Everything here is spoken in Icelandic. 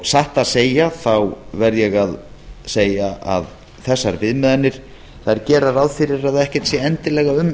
satt að segja verð ég að segja að þessar viðmiðanir gera ráð fyrir að ekkert sé endilega um